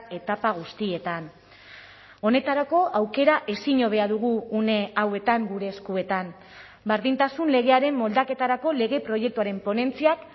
etapa guztietan honetarako aukera ezin hobea dugu une hauetan gure eskuetan berdintasun legearen moldaketarako lege proiektuaren ponentziak